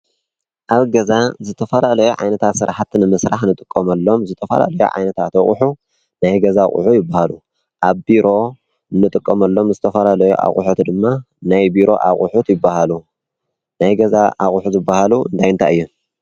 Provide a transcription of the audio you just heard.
አብ ገዛ ዝተፈላለዩ ዓይነታት ስራሕቲ ንምስራሕ እንጥቀመሎም ዝተፈላለዩ ዓይነታት ናይ ገዛ አቁሑ ይበሃሉ። አብ ቢሮ እንጥቀመሎም ዝተፈላለዩ ዓይነት አቁሑት ድማ ናይ ቢሮ አቁሑት ይበሃሉ ። ናይ ገዛ አቁሑ ዝበሃሉ እንታይ እንታይ እዩ?